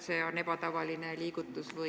Kas te ei teadnud, et see on ebatavaline liigutus?